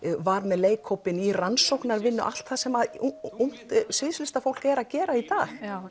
var með leikhópinn í rannsóknavinnu allt það sem ungt sviðslistarfólk er að gera í dag